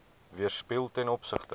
weerspieël ten opsigte